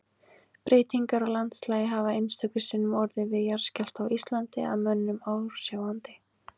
Breytingar á landslagi hafa einstöku sinnum orðið við jarðskjálfta á Íslandi að mönnum ásjáandi.